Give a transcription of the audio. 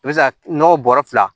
I bɛ se ka nɔgɔ bɔrɔ fila